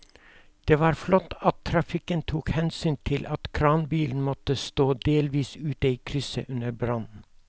Det var flott at trafikken tok hensyn til at kranbilen måtte stå delvis ute i krysset under brannen.